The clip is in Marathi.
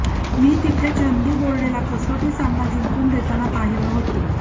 मी तिथे चंदू बोर्डेला कसोटी सामना जिंकून देताना पाहिलं होतं